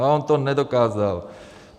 A on to nedokázal.